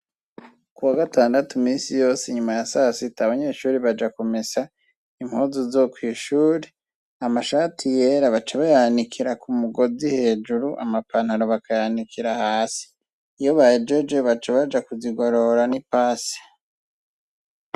Kuwagatandatu misi yose inyuma ya sasita abanyeshure baja kumesa impuzu zo kwishure, amashati yera baca bayanikira ku mugozi hejuru amapantaro bakayanikira hasi. Iyo bahejeje baca baja kuzigorora n’ipasi.